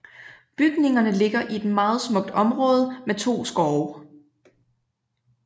Bygningerne ligger i et meget smukt område med to skove